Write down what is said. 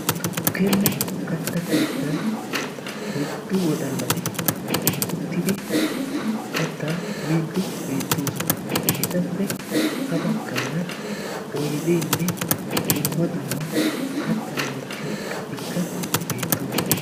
tukkenne kattaa keeettan oyddu wodaalati uttidi kattaa miidi beettosona. etappe ha baggaara oydenne dumma dumma kattaa wottiyo iqatikka beettoosona.